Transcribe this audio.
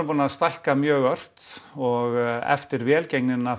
búin að stækka mjög ört og eftir velgengnina